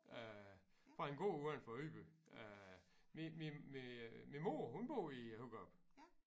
Øh fra en gård udenfor Ydby øh min mor hun bor i Hurup